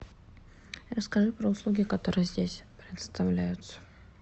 расскажи про услуги которые здесь предоставляются